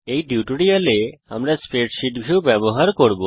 এই টিউটোরিয়াল এ আমরা স্প্রেডশীট ভিউ ব্যবহার করব